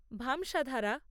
ভামসাধারা